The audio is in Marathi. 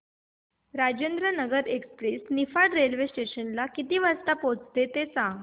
Rajendranagar express Niphad railway station ला किती वाजता पोहचते ते सांग